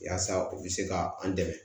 Yaasa u bɛ se ka an dɛmɛ